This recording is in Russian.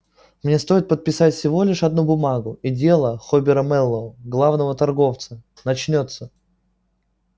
мне стоит подписать всего лишь одну бумагу и дело хобера мэллоу главного торговца начнётся